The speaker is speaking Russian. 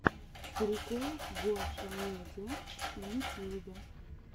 прикол гошамедиа в ютьюбе